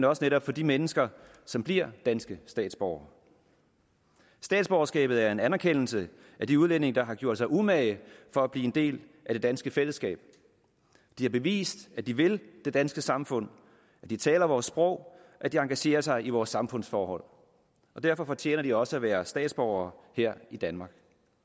også netop for de mennesker som bliver danske statsborgere statsborgerskabet er en anerkendelse af de udlændinge der har gjort sig umage for at blive en del af det danske fællesskab de har bevist at de vil det danske samfund at de taler vores sprog at de engagerer sig i vores samfundsforhold derfor fortjener de også at være statsborgere her i danmark